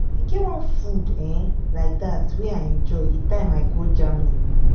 e get one food um like dat wey i enjoy the time i go germany